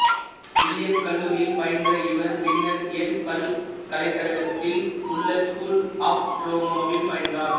Williams கல்லூரியில் பயின்ற இவர் பின்னர் யேல் பல்கலைக்கழகத்தில் உள்ள ஸ்கூல் ஆப் டிராமாவில் பயின்றார்